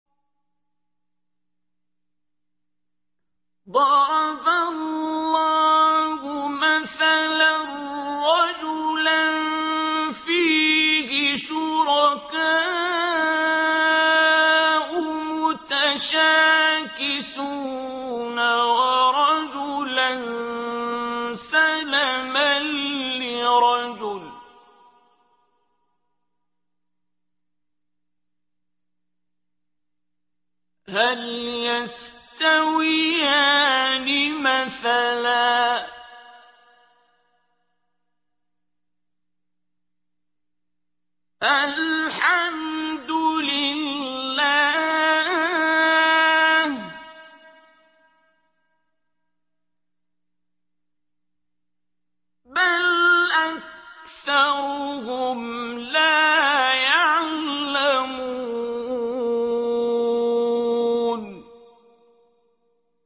ضَرَبَ اللَّهُ مَثَلًا رَّجُلًا فِيهِ شُرَكَاءُ مُتَشَاكِسُونَ وَرَجُلًا سَلَمًا لِّرَجُلٍ هَلْ يَسْتَوِيَانِ مَثَلًا ۚ الْحَمْدُ لِلَّهِ ۚ بَلْ أَكْثَرُهُمْ لَا يَعْلَمُونَ